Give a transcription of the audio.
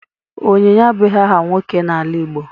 Onyinye abụghị aha nwoke n'ala Igbo.